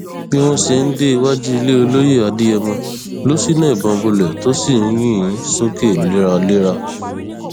bí wọn ṣe ń dé iwájú ilé olóye adéyẹmọ ló ṣínà ìbọn bolẹ tó sì ń yìn ín sókè léraléra